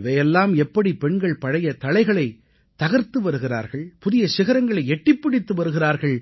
இவை எல்லாம் எப்படி பெண்கள் பழைய தளைகளைத் தகர்த்து வருகிறார்கள் புதிய சிகரங்களை எட்டிப் பிடித்து வருகிறார்கள்